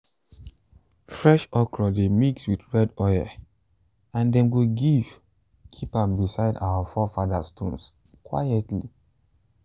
fresh okra dey mix with red oil and dem go give keep am beside our forefathers stones quietly.